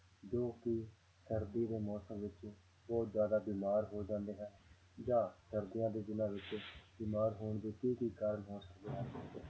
ਜੋ ਕਿ ਸਰਦੀ ਦੇ ਮੌਸਮ ਵਿੱਚ ਬਹੁਤ ਜ਼ਿਆਦਾ ਬਿਮਾਰ ਹੋ ਜਾਂਦੇ ਹਨ ਜਾਂ ਸਰਦੀਆਂ ਦੇ ਦਿਨਾਂ ਵਿੱਚ ਬਿਮਾਰ ਹੋਣ ਦੇ ਕੀ ਕੀ ਕਾਰਣ ਹੋ ਸਕਦੇ ਹਨ